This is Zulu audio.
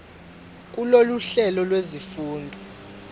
kulolu hlelo lwezifundo